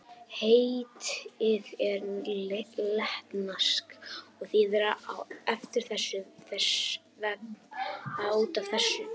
Heitið er latneskt og þýðir á eftir þessu, þess vegna út af þessu.